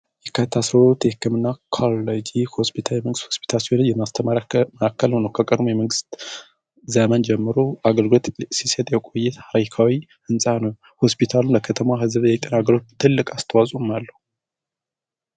የካቲት አስራ ሁለት የህክምና ኮለጂ ሆስፒታል የመንግስት ሆስፒታል ሲሆለጅ የማስተመመራከልሆነው ከቀርሙ የመንግስት ዘመን ጀምሮ አገልግት ሲሴጥ የቆይት ራይካዊ እንፃ ነ ሆስፒታሉን ለከተማ ህዝብ የህቀን አገሩ ትልቅ አስተዋጽም አለው።